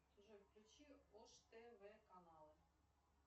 джой включи ош тв каналы